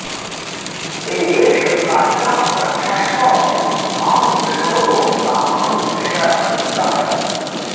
देवेश प्राच्यां रक्षस्व मां विष्णो त्वामहं शरणं गतः